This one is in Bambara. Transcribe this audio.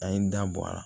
An ye n da bɔ a la